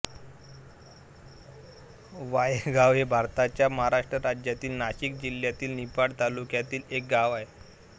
वाहेगाव हे भारताच्या महाराष्ट्र राज्यातील नाशिक जिल्ह्यातील निफाड तालुक्यातील एक गाव आहे